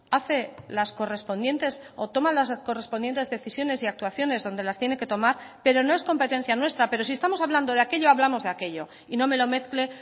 hace las correspondientes o toma las correspondientes decisiones y actuaciones donde las tiene que tomar pero no es competencia nuestra pero si estamos hablando de aquello hablamos de aquello y no me lo mezcle